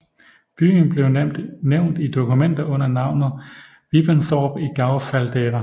Byen blev nævnt i dokumenter under navnet Wippenthorp i Gau Faldera